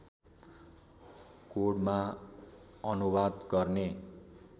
कोडमा अनुवाद गर्ने